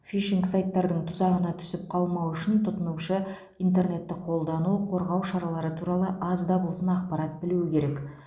фишинг сайттардың тұзағына түсіп қалмау үшін тұтынушы интернетті қолдану қорғау шаралары туралы аз да болсын ақпарат білуі керек